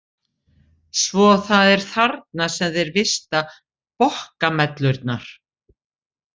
Svo það er þarna sem þeir vista bokkamellurnar?